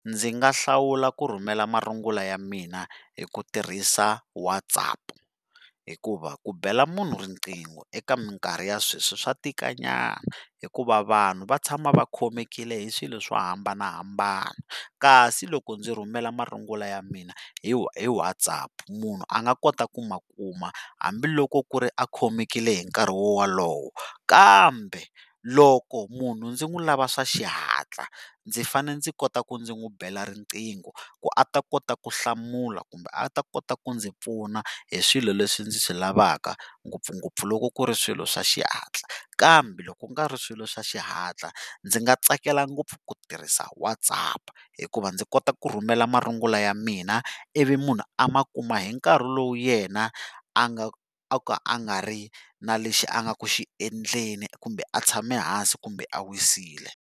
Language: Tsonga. Ndzi nga hlawula ku rhumela marungula ya mina hi ku tirhisa WhatsApp, hikuva ku bela munhu riqingho eka mikarhi ya sweswi swa tika nyana, hikuva vanhu va tshama va khomekile hi swilo swo hambanahambana, kasi loko ndzi rhumela marungulo ya mina hi WhatsApp munhu a nga kota ku ma kuma hambiloko ku ri a khomekile hi nkarhi wolowo, kambe loko munhu ndzi n'wi lava swa xihatla ndzi fanele ndzi kota ku ndzi n'wi bela riqingho ku a ta kota ku hlamula kumbe a ta kota ku ndzi pfuna hi swilo leswi ndzi swi lavaka ngopfungopfu loko ku ri swilo swa xihatla, kambe loko ku nga ri swilo swa xihatla ndzi nga tsakela ngopfu ku tirhisa WhatsApp hikuva ndzi kota ku rhumela marungulo ya mina ivi munhu a ma kuma hi nkarhi lowu yena a nga o ka a nga ri na lexi a nga ku xiendleni kumbe a tshame hansi kumbe a wisile.